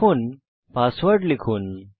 এখন পাসওয়ার্ড লিখুন